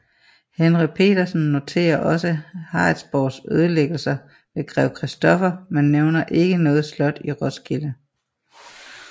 Henry Petersen noterer også Harritsborgs ødelæggelse ved Grev Christoffer men nævner ikke noget slot i Roskilde